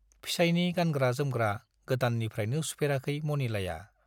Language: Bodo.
फिसाइनि गानग्रा-जोमग्रा गोदाननिफ्राइनो सुफेराखै मनिलाया।